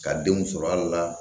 Ka denw sɔrɔ ali la